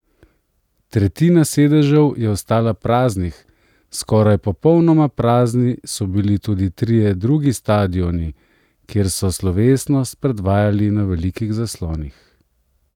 Tretjina sedežev je ostala praznih, skoraj popolnoma prazni so bili tudi trije drugi stadioni, kjer so slovesnost predvajali na velikih zaslonih.